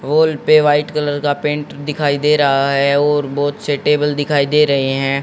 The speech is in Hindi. वोल पे वाइट कलर का पेंट दिखाई दे रहा है और बहुत से टेबल दिखाई दे रहे हैं।